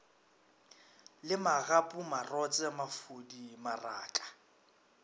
le magapu marotse mafodi maraka